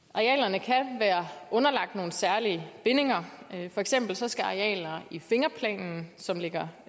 arealerne kan være underlagt nogle særlige bindinger for eksempel skal arealer i fingerplanen som ligger